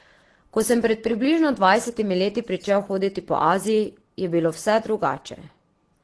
Ko sem pred približno dvajsetimi leti pričel hoditi po Aziji, je bilo vse drugače.